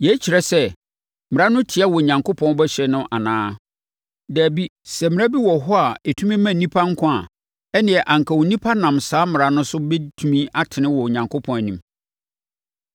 Yei kyerɛ sɛ Mmara no tia Onyankopɔn bɔhyɛ no anaa? Dabi! Sɛ mmara bi wɔ hɔ a ɛtumi ma nnipa nkwa a, ɛnneɛ anka onipa nam saa mmara no so bɛtumi atene wɔ Onyankopɔn anim.